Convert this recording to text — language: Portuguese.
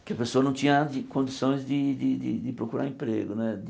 Porque a pessoa não tinha condições de de de procurar emprego né.